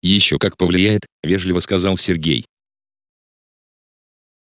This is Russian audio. ещё как повлияет вежливо сказал сергей